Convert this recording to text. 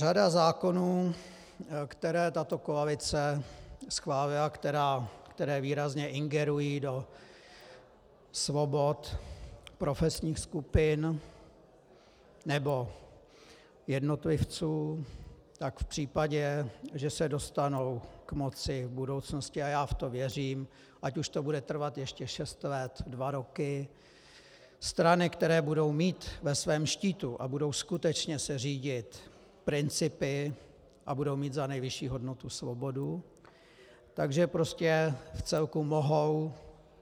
Řada zákonů, které tato koalice schválila, které výrazně ingerují do svobod profesních skupin nebo jednotlivců, tak v případě, že se dostanou k moci v budoucnosti, a já v to věřím, ať už to bude trvat ještě šest let, dva roky, strany, které budou mít ve svém štítu a budou skutečně se řídit principy a budou mít za nejvyšší hodnotu svobodu, tak že prostě vcelku mohou